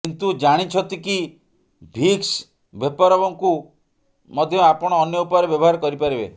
କିନ୍ତୁ ଜାଣିଛନ୍ତି କି ଭିକ୍ସ ଭେପୋରବ୍କୁ ମଧ୍ୟ ଆପଣ ଅନ୍ୟ ଉପାୟରେ ବ୍ୟବହାର କରିପାରିବେ